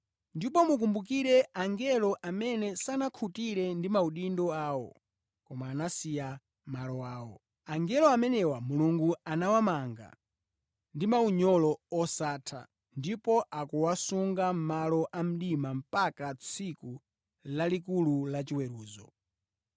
Ndipo mukumbukire angelo amene sanakhutire ndi maudindo awo, koma anasiya malo awo. Angelo amenewa Mulungu anawamanga ndi maunyolo osatha, ndipo akuwasunga mʼmalo a mdima mpaka tsiku lalikulu lachiweruzo.